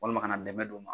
Walima kana dɛmɛ don u ma